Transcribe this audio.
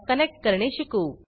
connect करणे शिकू